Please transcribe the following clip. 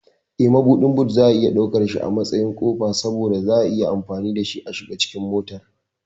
Eh, Mabuɗin boot ana iya ɗaukansa a matsayin ƙofa saboda za'a iya amfani dashi a shiga cikin motar.